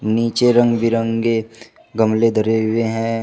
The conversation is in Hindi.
नीचे रंग बिरंगे गमले धरे हुए हैं।